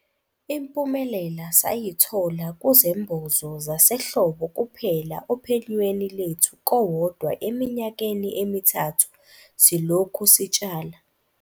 Impumelela sayithola kuzembozo zasehlobo kuphela ophenyweni lwethu kowodwa eminyakeni emithathu silokhu sitshala.